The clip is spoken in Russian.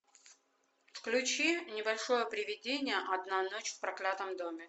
включи небольшое приведение одна ночь в проклятом доме